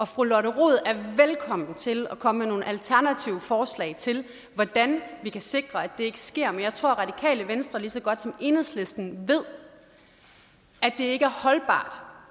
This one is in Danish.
fru lotte rod er velkommen til at komme med nogle alternative forslag til hvordan vi kan sikre at det ikke sker men jeg tror at radikale venstre lige så godt som enhedslisten ved at det ikke er holdbart